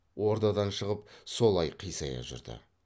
ордадан шығып солай қисая жүрді